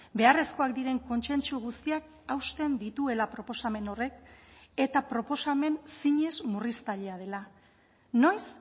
beharrezkoak diren kontsentsu guztiak hausten dituela proposamen horrek eta proposamen zinez murriztailea dela noiz